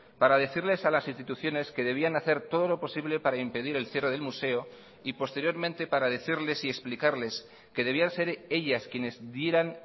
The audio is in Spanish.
para decirles a las instituciones que debían hacer todo lo posible para impedir el cierre del museo y posteriormente para decirles y explicarles que debían ser ellas quienes dieran